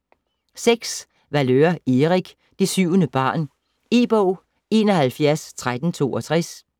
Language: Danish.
Valeur, Erik: Det syvende barn E-bog 711362